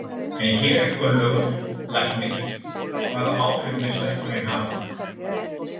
En hér er Gunnlaugur, læknir, hvaða áhrif mun stækkunin hafa?